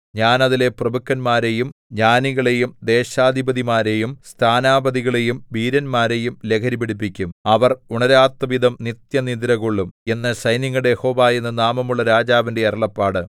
ഞാൻ അതിലെ പ്രഭുക്കന്മാരെയും ജ്ഞാനികളെയും ദേശാധിപതിമാരെയും സ്ഥാനാപതികളെയും വീരന്മാരെയും ലഹരി പിടിപ്പിക്കും അവർ ഉണരാത്തവിധം നിത്യനിദ്രകൊള്ളും എന്ന് സൈന്യങ്ങളുടെ യഹോവ എന്നു നാമമുള്ള രാജാവിന്റെ അരുളപ്പാട്